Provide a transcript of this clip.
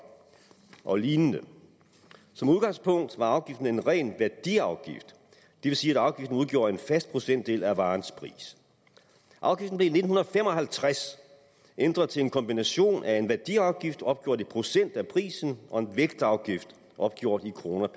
og lign som udgangspunkt var afgiften en ren værdiafgift det vil sige at afgiften udgjorde en fast procentdel af varens pris afgiften blev i nitten fem og halvtreds ændret til en kombination af en værdiafgift opgjort i procent af prisen og en vægtafgift opgjort i kroner